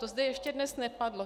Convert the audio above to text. To zde ještě dnes nepadlo.